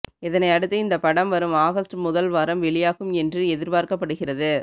இதனையடுத்து இந்த படம் வரும் ஆகஸ்ட் முதல் வாரம் வெளியாகும் என்று எதிர்பார்க்கப்படுகிறது